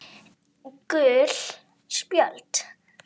Gul spjöld